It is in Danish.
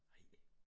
Ej!